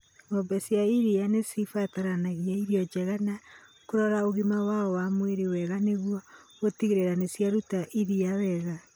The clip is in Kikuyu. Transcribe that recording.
Ng'ombe cia iria nĩ cibataraga irio njega na kũrora ũgima wao wa mwĩrĩ wega nĩguo gũtigĩrĩra nĩ ciaruta iria wega.